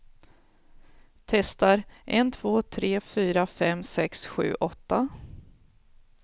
Testar en två tre fyra fem sex sju åtta.